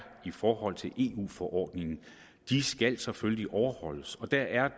i forhold til eu forordningen skal selvfølgelig overholdes og der er